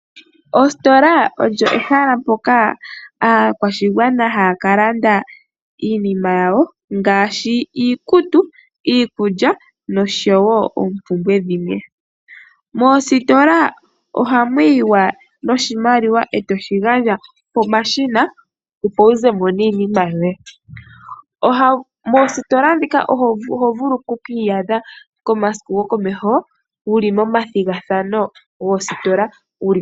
Oositola olyo ehala mpoka aakwashigwana haya ka landa iinima yawo ngaashi iikutu, iikulya noshowo oompumbwe dhimwe. Moositola ohamu yiwa noshimaliwa e to shi gandja pomashina opo wu zemo niinima yoye. Moositola ndhika oho vulu oku ki iyadha komasiku gokomeho wuli momathigathano goositola.